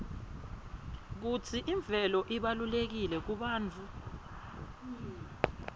kutsi imvelo ibalulekile kubantfu